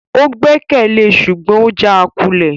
O gbẹkẹle e ṣugbọn o jaakulẹ